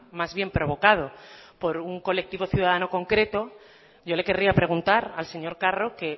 más bien provocado por un colectivo ciudadano concreto yo le querría preguntar al señor carro que